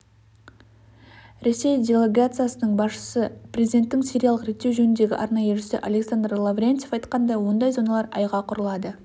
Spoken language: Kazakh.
ресей делегациясының басшысы президенттің сириялық реттеу жөніндегі арнайы елшісі александр лаврентьев айтқандай ондай зоналар айға құрылады